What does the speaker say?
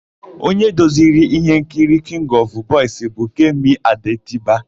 Onye duziri íhénkiri Kịngị ọfụ Bọis bụ Kemi Adetiba.